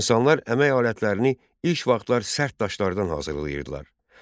İnsanlar əmək alətlərini ilk vaxtlar sərt daşlardan hazırlayırdılar.